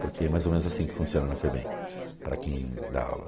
porque é mais ou menos assim que funciona na FEBEM, para quem dá aula.